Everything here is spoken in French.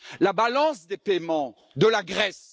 la balance des paiements de la Grèce.